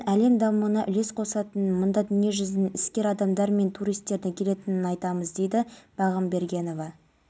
сауд арабиясының қауіпсіздік күштері жұма күні мұсылмандардың басты қасиет тұтатын орыны қағбаға жасалмақ болған лаңкестік шабуылдың